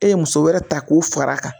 E ye muso wɛrɛ ta k'o fara a kan